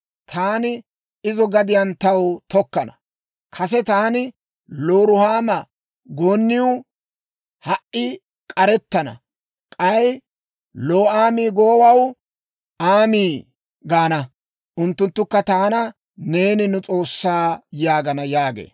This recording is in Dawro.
Taani izo gadiyaan taw tokkana. Kase taani ‹Looruhaama gooniw› (k'arettabeennaniw) ha"i k'arettana. K'ay ‹Loo'aami› goowaw (ta asaa gidennawantta), ‹Aami› (Ta asaa) gaana; unttunttukka taana, ‹Neeni nu S'oossaa› yaagana» yaagee.